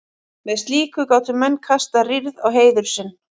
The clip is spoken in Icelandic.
með slíku gátu menn kastað rýrð á heiður sinn